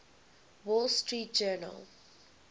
wall street journal